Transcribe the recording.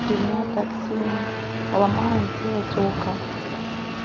три дня так сильно ломает делать око